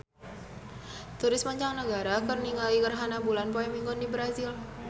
Turis mancanagara keur ningali gerhana bulan poe Minggon di Brazil